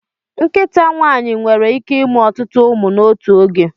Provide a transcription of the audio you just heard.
Nkịta nwaanyị nwere ike ịmụ ọtụtụ ụmụ n'otu oge.